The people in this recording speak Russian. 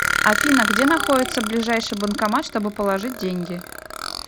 афина где находится ближайший банкомат чтобы положить деньги